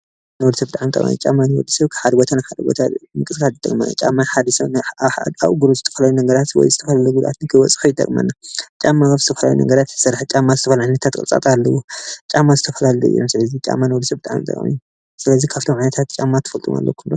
ንወድሰብ ብጣዕሚ ተቃሚ እዩ ጫማ ካብ ሓደ ቦታ ናብ ሓደ ቦታ ንምንቀስቃስ ይጠቅመና። ጫማ ሓደ ሰብ ኣብ እግሩ ዝተፈላለዩ ነገራት ወይ ዝተፈላለዩ ግብኣታት ንከይበፅሖ ይጠቅመና። ጫማ ከብ ዝተፈላለዩ ነገራት እዩ ዝተሰርሐ ዝተፈላለዩ ዓይነታት ቅርፅታት ኣለዎ ጫማ ዝተፈላለዩ እዮም ስለዚ ጫማ ንወዲ ሰብ ኣዝዩ ብጣዕሚ ጠቃሚ እዩ። ስለዚ ካብቶም ዓይነታት ጫማ ትፈልጥዎም ኣሎኩም ዶ?